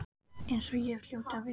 Eins og ég hljóti að vita.